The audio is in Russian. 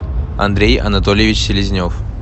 андрей анатольевич селезнев